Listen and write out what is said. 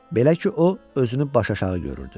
Belə ki, o özünü başaşağı görürdü.